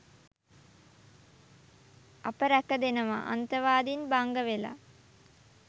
අප රැකදෙනවා.අන්තවාදීන් බංගවෙලා.